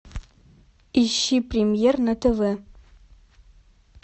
ищи премьер на тв